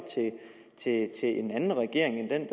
til en anden regering end